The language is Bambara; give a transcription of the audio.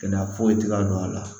Kɛnɛya foyi tɛ ka don a la